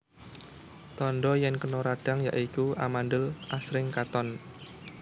Tandha yèn kena radhang ya iku amandhel asring katon